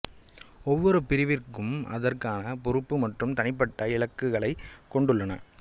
ஒவ்வொரு பிரிவுக்கும் அதற்கான பொறுப்பு மற்றும் தனிப்பட்ட இலக்குகளைக் கொண்டுள்ளன